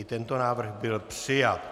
I tento návrh byl přijat.